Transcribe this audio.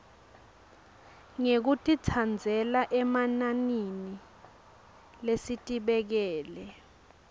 ngekutitsandzela emananini lesitibekele